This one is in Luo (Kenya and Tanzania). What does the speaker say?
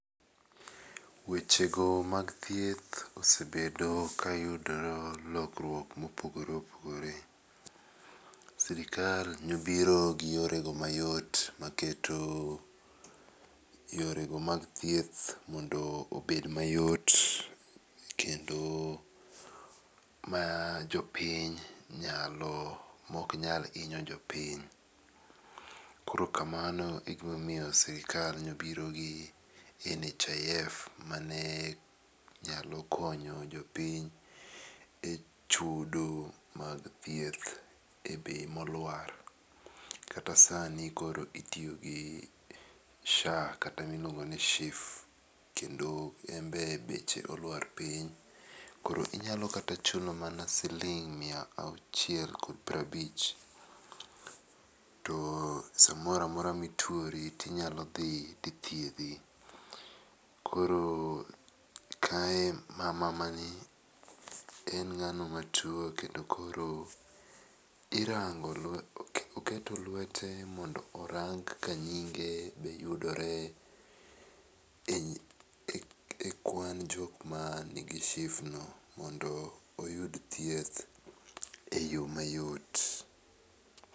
Weche go mag thieth osebedo ka yudo lokruok ma opogore opogore. Sirkal ne obiro gi yore go ma yot ma keto yore go mag thieth obed ma yot kendo ma jo piny nyalo ok nyal inyo jopiny. Koro kamano e ma omiyo sirkal ne obiro gi nhif mane nyalo konyo jopiny e chudo mag thieth e bei ma oluoar kata saa ni koro itiyo gi sha kata mi iliuongo ni shif kendo en be beche oluar piny. Koro inyalo kata chulo mana siling mia achiel gi piero abich to sa moro amora ma ituori ti inyalo dhi ti ithiedhi. Koro kae mama ni en ngano ma tuo kendo koro irango lwete oketo lwete mondo orang ka nyinge yudore e kwan jok man gi shif no mondo oyud thieth e yo ma yot.